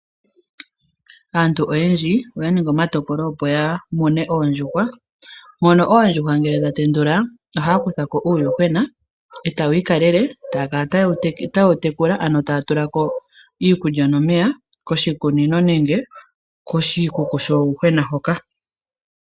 Aantu oyendji oya ningi omatokolo opo yamune oondjuhwa opo yamone oondjuhwa, mono oondjuhwa ngele dha tendulwa, ohaya kutha ko uuyuhwena etaye wi kaalelele etaya kala taye wu tekula ano taya tula ko iikulya nomeya koshikunino nenge koshikuku shuuyuhwena hoka.